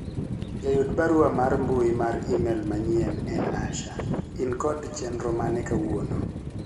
jayud barua mar mbui mar email manyien en Asha in kod chenro mane kawuono